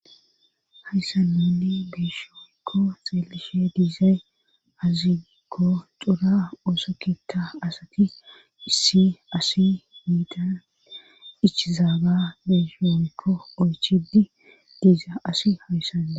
Hayssamenne beeshooyykko xeelishe diizay azigo xura oosokkikka asati issi asi miitan ichizaaga beeshooykko oychidi diiza asi hayssane.